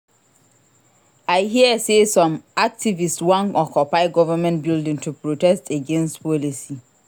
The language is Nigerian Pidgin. I hear sey some activists wan occupy government building to protest against policy.